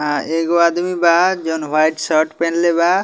एगो आदमी बा जोवन वाइट शर्ट पेहेनले बा।